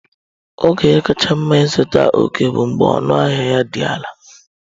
Oge kacha mma ịzụta ọkẹ́ bụ mgbe ọnụahịa ya dị ala.